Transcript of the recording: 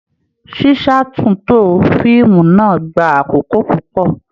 Ṣíṣátúntò fíìmù náà gbà àkókò púpọ.